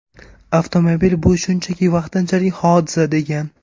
Avtomobil bu shunchaki vaqtinchalik hodisa”, degan.